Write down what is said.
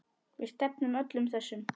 Við stefnum öllum þessum